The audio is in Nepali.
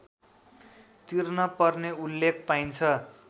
तिर्नपर्ने उल्लेख पाइन्छ